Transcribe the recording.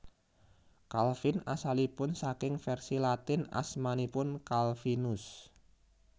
Calvin asalipun saking vèrsi Latin asmanipun Calvinus